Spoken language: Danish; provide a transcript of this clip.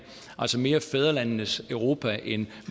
altså mere fædrelandenes europa end